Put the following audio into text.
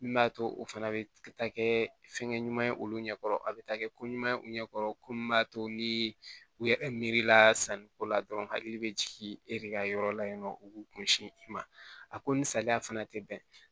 Min b'a to o fana bɛ taa kɛ fɛn ɲuman ye olu ɲɛ kɔrɔ a bɛ taa kɛ ko ɲuman u ɲɛ kɔrɔ ko min b'a to ni u yɛrɛ miiri la sanniko la dɔrɔn hakili bɛ jigin e de ka yɔrɔ la yen nɔ u k'u kun si i ma a ko ni saliya fana tɛ bɛn